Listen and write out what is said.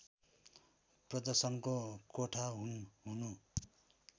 प्रदर्शनको कोठा हुनु